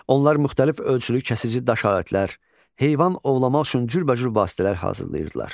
Onlar müxtəlif ölçülü kəsici daş alətlər, heyvan ovlamaq üçün cürbəcür vasitələr hazırlayırdılar.